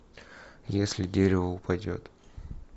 если дерево упадет